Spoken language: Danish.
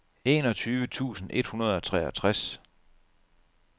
enogtyve tusind et hundrede og treogtres